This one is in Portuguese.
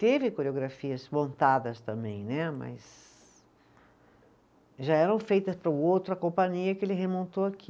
Teve coreografias montadas também né, mas já eram feitas para o outro, a companhia que ele remontou aqui.